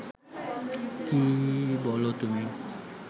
কী বলো তুমি